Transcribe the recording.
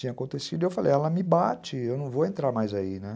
acontecido. E eu falei, ela me bate, eu não vou entrar mais aí, né?